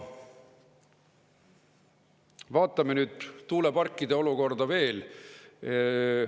Vaatame nüüd tuuleparkide olukorda veel.